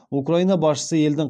украина басшысы елдің